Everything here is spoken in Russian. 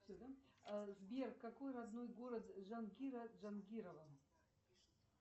сбер какой родной город джанкира джанкирова